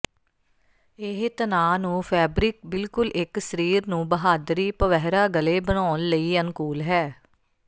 ਇਹ ਤਣਾਅ ਨੂੰ ਫੈਬਰਿਕ ਬਿਲਕੁਲ ਇੱਕ ਸਰੀਰ ਨੂੰ ਬਹਾਦਰੀ ਪਵਹਰਾਿਾ ਗਲੇ ਬਣਾਉਣ ਲਈ ਅਨੁਕੂਲ ਹੈ